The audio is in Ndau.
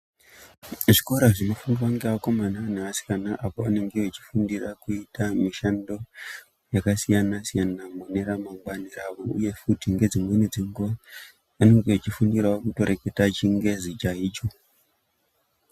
Zvikora zvinofundwa ngevakomana neasikana apo anenge echifunfira kuita mishando yakasiyana-siyana mune ramangwani ravo. Uye futi ngedzimweni dzenguva anenge echfundira kutoreketea chingezi chaicho.